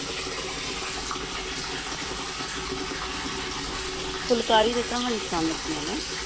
ਫੁਲਕਾਰੀ ਦੀ ਕਹਾਣੀ ਸੁਣਾਉਣ ਲੱਗੀ ਹਾਂ ਮੈਂ,